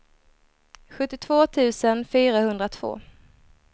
sjuttiotvå tusen fyrahundratvå